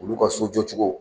Olu ka sojɔ cogo